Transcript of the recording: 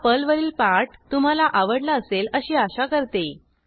हा पर्लवरील पाठ तुम्हाला आवडला असेल अशी आशा करते